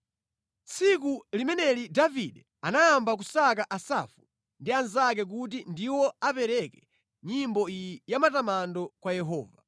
Tsiku limeneli Davide anayamba nʼkusankha Asafu ndi anzake kuti ndiwo apereke nyimbo iyi ya matamando kwa Yehova: